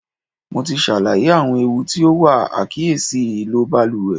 Mo ti ṣàlàyé àwọn ewu tí ó wà àìkíyèsí ìlò baluwẹ̀.